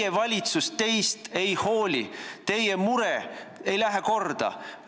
Teie valitsus teist ei hooli, teie mure ei lähe korda!